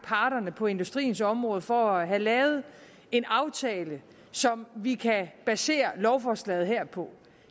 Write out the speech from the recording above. parterne på industriens område for at have lavet en aftale som vi kan basere lovforslaget her på